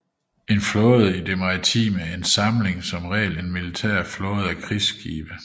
En flåde er i det maritime en samling som regel en militær flåde af krigsskibe